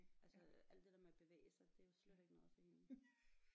Altså alt det der med at bevæge sig det er jo slet ikke noget for hende